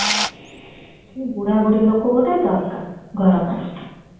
ବୁଢା ବୁଡଳୀ ଲୋକ ଗୋଟେ ଦରକାର ଘର ପାଇଁ